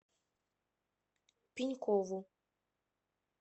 пенькову